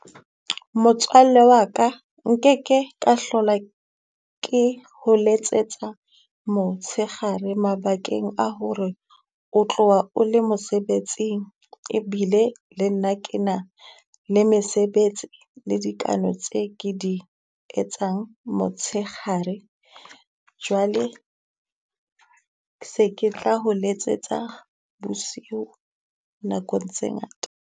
Motswalle wa ka nkeke ka hlola ke ho letsetsa motshekgare mabakeng a hore, o tloha o le mosebetsing, ebile le nna ke na le mesebetsi le dikano tse ke di etsang motshekgare. Jwale se ke tla ho letsetsa bosiu nakong tse ngata.